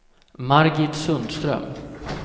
Margit Sundström